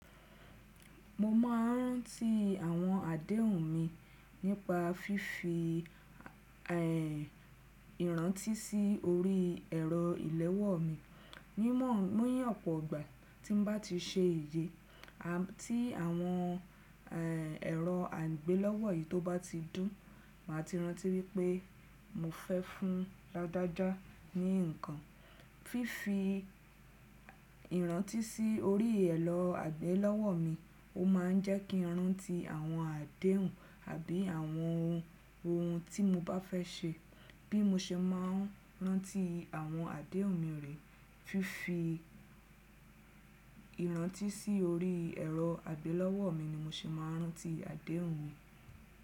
Mo máa ń rántí àwọn àdéhùn mi nípa fífi, ẹ́, ìrántí sí orí ẹ̀rọ ìléwọ́ mi. Ní mọ́, ní ọ̀pọ̀ ọgbà, tí n bá ti ṣe ìyè, à tí àwọn, ẹ́, ẹ̀rọ àgbélọ́wọ́ yìí tó bá ti dún, màá ti rántí wípé mo fẹ́ fún dáadáa ní ǹkan. Fífi ìrántí sí orí ẹ̀rọ àgbélọ́wọ́ mi, ó máa ń jẹ́ kí n rántí àwọn àdéhùn àbí àwọn ohun, ohun tí mo bá fẹ́ ṣe. Bí mo ṣe máa ń rántí àwọn àdéhùn mi rí, fífi ìrántí sí orí ẹ̀rọ àgbélọ́wọ́ mi ni mo ṣe máa ń rántí àdéhùn mi.